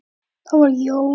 Það var Jón